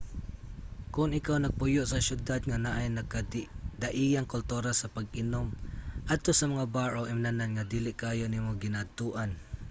kon ikaw nagpuyo sa syudad nga naay nagkadaiyang kultura sa pag-inom adto sa mga bar o imnanan nga dili kaayo nimo ginaadtoan